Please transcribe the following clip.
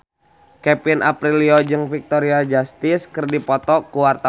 Kevin Aprilio jeung Victoria Justice keur dipoto ku wartawan